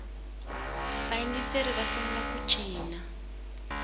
vayingiseri va sungula ku cina